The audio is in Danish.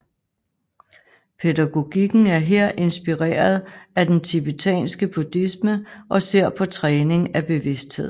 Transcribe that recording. Pædagogikken er her inspireret af den tibetanske buddhisme og ser på træning af bevidsthed